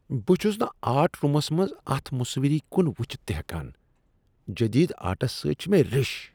بہٕ چھس نہٕ آرٹ روٗمس منٛز اتھ مُصوِری کن وٕچھتھ تہ ہٮ۪کان، جدید آرٹس سۭتۍ چھےٚ مےٚ رٕش۔